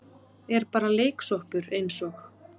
Er bara leiksoppur eins og